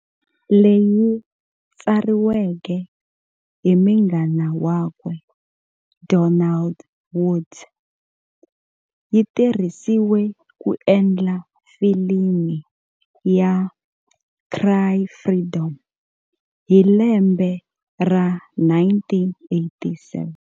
Leyi tsariweke hi munghana wakwe Donald Woods, yitirhisiwe ku endla filimi ya "Cry Freedom" hi lembe ra 1987.